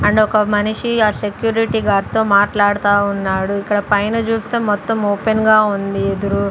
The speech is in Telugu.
అండ్ ఒక మనిషి ఆ సెక్యూరిటీ గార్డుతో మాట్లాడుతా ఉన్నాడు ఇక్కడ పైన చూస్తే మొత్తం ఓపెన్ గా ఉంది ఎదురు--